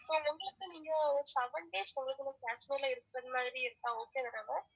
ah okay ma'am